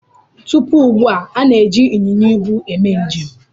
Tupu ugbu a, a na-eji ịnyịnya ibu eme njem.